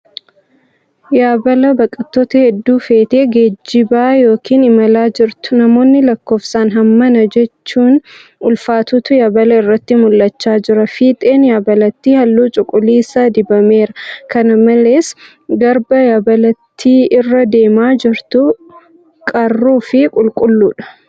Yaabala baqattoota hedduu feetee geejjibaa yookan imalaa jirtu. Namoonni lakkoofsaan hammana jechujn ulfaatutu yaabala irratti mul'achaa jira. Fiixeen yaabalitti halluu cuquliisa dibameera. Kana malees, garba yaabalittii irra deemaa jirtu qarruu fi qulqulluudha.